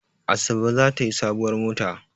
Asabe za ta yi sabuwar mota.